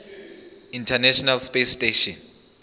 international space station